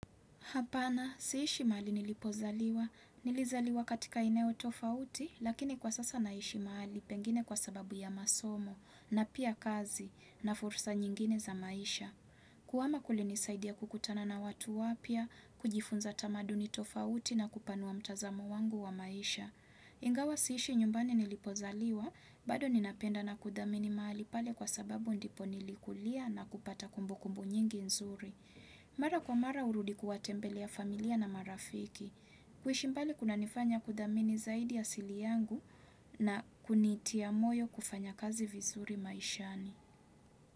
Hapana, siishi mahali nilipozaliwa. Nilizaliwa katika eneo tofauti, lakini kwa sasa naishi mahali pengine kwa sababu ya masomo, na pia kazi, na fursa nyingine za maisha. Kuhama kulinisaidia kukutana na watu wapya, kujifunza tamaduni tofauti na kupanua mtazamo wangu wa maisha. Ingawa siishi nyumbani nilipozaliwa, bado ninapenda na kuthamini mahali pale kwa sababu ndipo nilikulia na kupata kumbukumbu nyingi nzuri. Mara kwa mara hurudi kuwatembelea familia na marafiki. Kuishi mbali kunanifanya kuthamini zaidi asili yangu na kunitia moyo kufanya kazi vizuri maishani.